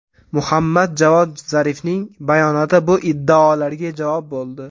Muhammad Javod Zarifning bayonoti bu iddaolarga javob bo‘ldi.